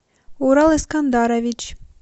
урал эскандарович